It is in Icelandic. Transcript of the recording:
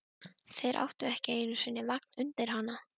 Þeir áttu ekki einu sinni vagn undir hana.